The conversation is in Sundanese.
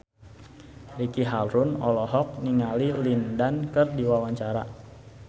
Ricky Harun olohok ningali Lin Dan keur diwawancara